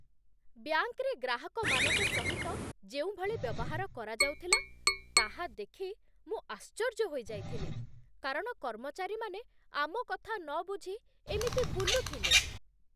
ବ୍ୟାଙ୍କରେ ଗ୍ରାହକମାନଙ୍କ ସହିତ ଯେଉଁଭଳି ବ୍ୟବହାର କରାଯାଉଥିଲା, ତାହା ଦେଖି ମୁଁ ଆଶ୍ଚର୍ଯ୍ୟ ହୋଇଯାଇଥିଲି, କାରଣ କର୍ମଚାରୀମାନେ ଆମ କଥା ନବୁଝି ଏମିତି ବୁଲୁଥିଲେ।